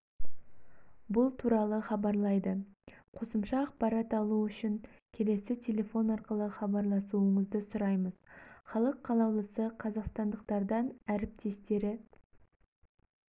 бұл туралы хабарлайды қосымша ақпарат алу үшін келесі телефон арқылы хабарласуыңызды сұраймыз халық қалаулысы қазақстандықтардан әріптестері